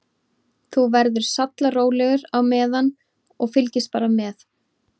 Þú verður sallarólegur á meðan og fylgist bara með.